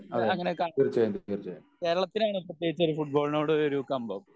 അങ്ങിനെ ക കേരളിതനു പ്രത്യേകിച്ച് ഫുട്ബോളിനോട് ഒരു കമ്പം